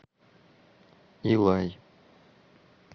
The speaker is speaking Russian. илай